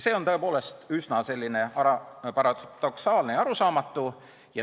See on tõepoolest üsna paradoksaalne ja arusaamatu.